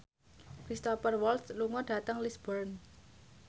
Cristhoper Waltz lunga dhateng Lisburn